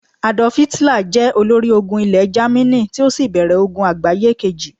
Adolf Hitler jẹ olórí ológun Ile jamini, ti o sí bèrè ogun àgbáyé Kejì